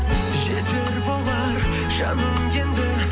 жетер болар жаным енді